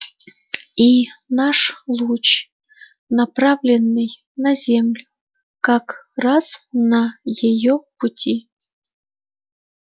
и наш луч направленный на землю как раз на её пути